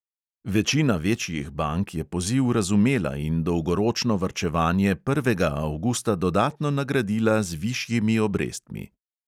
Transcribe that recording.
Večina večjih bank je poziv razumela in dolgoročno varčevanje prvega avgusta dodatno nagradila z višjimi obrestmi.